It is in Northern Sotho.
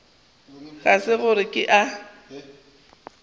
ga se gore ke a